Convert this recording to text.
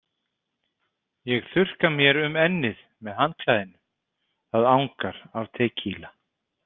Ég þurrka mér um ennið með handklæðinu, það angar af tekíla.